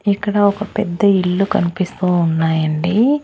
ఇక్కడ ఒక పెద్ద ఇల్లు కనిపిస్తూ ఉన్నాయండి.